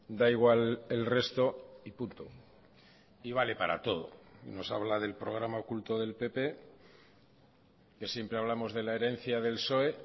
da igual el resto y punto y vale para todo nos habla del programa oculto del pp que siempre hablamos de la herencia del psoe